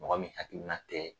Mɔgɔ min hakilina tɛ